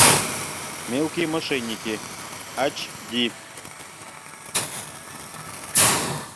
мелкие мошенники ач ди